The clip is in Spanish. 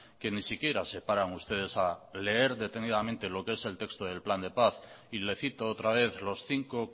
que ni siquiera se paran ustedes a leer detenidamente lo que el texto del plan de paz y le cito otra vez los cinco